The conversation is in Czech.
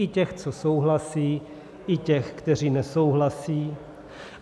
I těch, co souhlasí, i těch, kteří nesouhlasí.